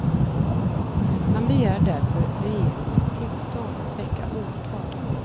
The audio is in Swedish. Han begär därför regeringens tillstånd att väcka åtal.